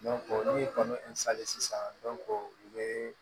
ni kɔnɔ sisan u bɛ